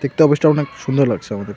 দেখতে অফিসটা অনেক সুন্দর লাগছে আমাদের.